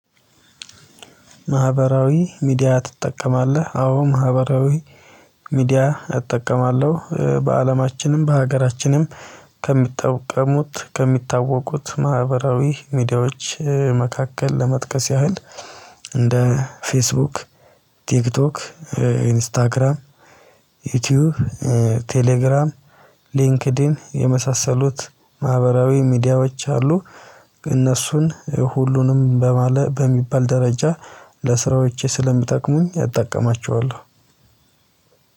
ማህበራዊ ሚዲያ ትጠቀማለህ? አዎ ማህበራዊ ሚዲያ እጠቀማለሁ። በአለማችንም በሀገራችንም ከሚጠቀሙት ከሚታወቁት ማህበራዊ ሚዲያዎች መካከል ለመጥቀስ ያህል። እንደ ፌስቡክ ቲክቶክ ኢንስታግራም ዩቲዩብ ቴሌግራም ሊንክድን የመሳሰሉት ማህበራዊ ሚዲያዎች አሉ። እነሱን ሁሉንም በሚባል ደረጃ ለስራዎቼ ስለምጠቅሙኝ አጠቃቀማቸዋለሁ።